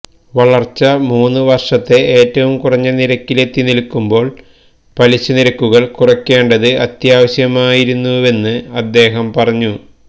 വളർച്ച മൂന്ന വർഷത്തെ ഏറ്റവും കുറഞ്ഞ നിരക്കിലെത്തിനിൽക്കുമ്പോൾ പലിശ നിരക്കുകൾ കുറയ്ക്കേണ്ടത് അത്യാവശ്യമായിരുന്നെന്ന് അദ്ദേഹം പറഞ്ഞു